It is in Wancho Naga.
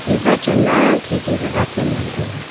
mihpa chen ma khi khi pe batket ngan tai ga.